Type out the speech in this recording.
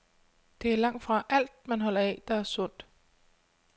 Det er langtfra alt, man holder af, der er sundt.